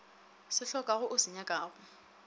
se hlokago o se nyakago